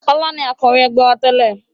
Ọlá ni Akọ̀wé ẹgbẹ́ wá tẹ́lè